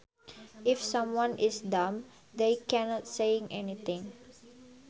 If someone is dumb they can not say anything